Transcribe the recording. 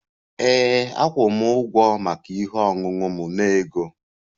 Ee, akwụ m ụgwọ maka ihe ọṅụṅụ m na ego